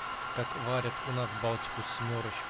как варят у нас балтику с